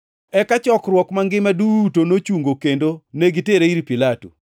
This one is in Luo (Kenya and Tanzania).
Eka chokruok mangima duto nochungo kendo negitere ir Pilato.